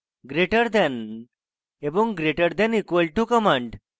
greater than এবং greater than equal to commands